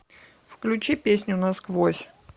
включи песню насквозь